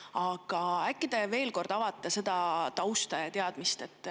Aga äkki te veel kord avate seda tausta.